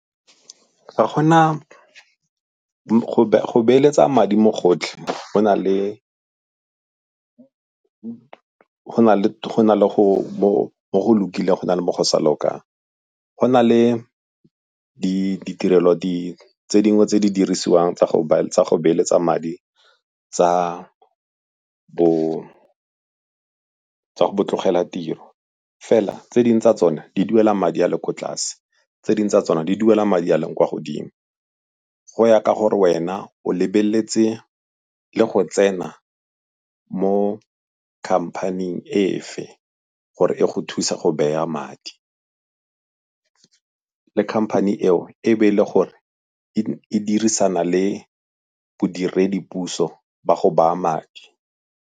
Ga go na go beeletsa madi mo gotlhe go na le mo go lokileng, go na le mo go sa lokang. Go na le ditirelo tse dingwe tse di dirisiwang tsa go beeletsa madi tsa bo tlogela tiro. Fela tse dingwe tsa tsona di duela madi a le ko tlase, tse dingwe tsa tsona di duela madi a a leng kwa godimo. Go ya ka gore wena o lebeletse le go tsena mo company-ing efe gore e go thuse go beya madi. Le company eo e be e le gore e dirisana le bodiredipuso ba go baya madi.